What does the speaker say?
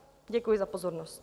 Děkuji za pozornost.